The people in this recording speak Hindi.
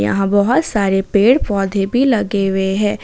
यहां बहोत सारे पेड़ पौधे भी लगे हुए हैं।